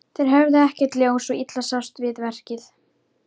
Þeir höfðu ekkert ljós, svo illa sást til við verkið.